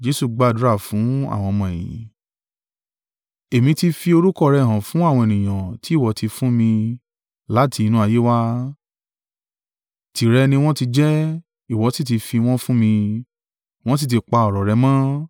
“Èmi ti fi orúkọ rẹ hàn fún àwọn ènìyàn tí ìwọ ti fún mi láti inú ayé wá, tìrẹ ni wọ́n ti jẹ́, ìwọ sì ti fi wọ́n fún mi; wọ́n sì ti pa ọ̀rọ̀ rẹ mọ́.